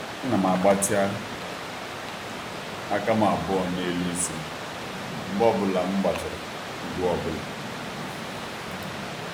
A na m gbatị aka m abụọ n'elu isi m mgbe ọ bụla m gbachara ugwu ọbụla.